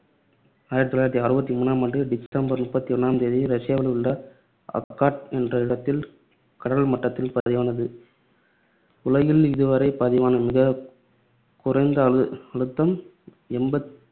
ஆயிரத்து தொள்ளாயிரத்து அறுபத்தி மூணாம் ஆண்டு ஆண்டு டிசம்பர் முப்பத்தி ஒண்ணாம் தேதி ரஷ்யாவில் உள்ள அகாட் என்ற இடத்தில் கடல் மட்டத்தில் பதிவானது. உலகில் இதுவரை பதிவான மிகக் குறைந்த அழு~ அழுத்தம் எம்பத்தி~